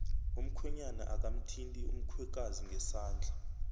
umkhwenyana akamthindi umkhwekazi ngesandla